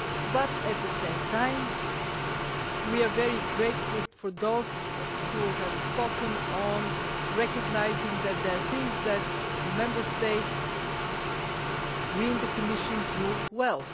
But at the same time we are very grateful to those who have spoken and recognised there are things that Member States and we in the Commission do well.